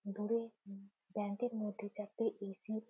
দূরে উ ব্যাঙ্ক -এর মধ্যে চারটি এ.সি. ।